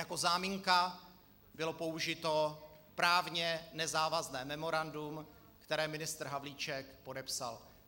Jako záminka bylo použito právně nezávazné memorandum, které ministr Havlíček podepsal.